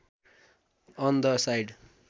on the side